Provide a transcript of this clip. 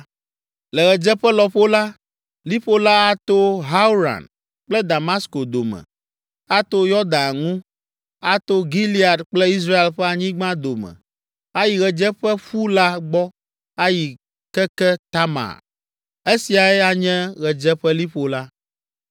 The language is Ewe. Le ɣedzeƒe lɔƒo la, liƒo la ato Hauran kple Damasko dome, ato Yɔdan ŋu, ato Gilead kple Israel ƒe anyigba dome ayi ɣedzeƒeƒu la gbɔ ayi keke Tamar. Esiae anye ɣedzeƒeliƒo la.